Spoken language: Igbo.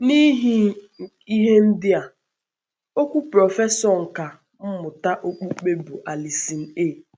N’ihi ihe ndị a, okwu prọfesọ nkà mmụta okpukpe bụ́ Allison A.